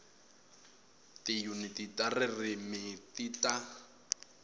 tiyuniti ta ririmi ti ta